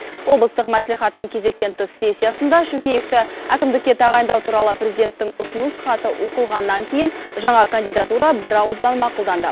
облыстық мәслихаттың кезектен тыс сессиясында шөкеевті әкімдікке тағайындау туралы президенттің ұсыныс хаты оқылғаннан кейін жаңа кандидатура бірауыздан мақұлданды